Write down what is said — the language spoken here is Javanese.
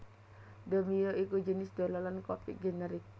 Domino iku jinis dolanan kopik generik